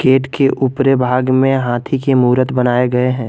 Gate के ऊपरी भाग में हाथी के मूरत बनाया गया है।